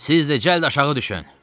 Siz də cəld aşağı düşün!